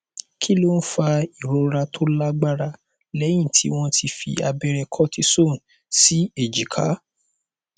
kí ló ń fa ìrora tó lágbára lẹyìn tí wọn ti fi abẹrẹ cortisone sí èjìká